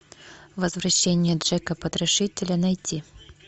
возвращение джека потрошителя найти